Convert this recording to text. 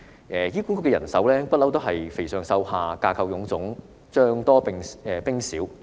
其實，醫管局的人手問題一向是"肥上瘦下"，架構臃腫，將多兵少。